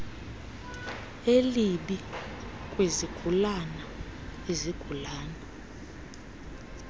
elibi kwizigulana izigulana